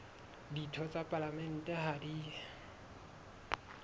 ditho tsa palamente ha di